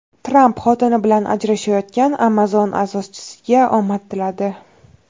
Tramp xotini bilan ajrashayotgan Amazon asoschisiga omad tiladi.